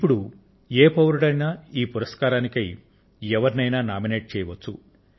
ఇప్పుడు ఏ పౌరుడైనా ఈ పురస్కారాలకై ఎవరినైనా నామినేట్ చేయవచ్చు